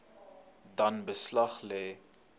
dan beslag lê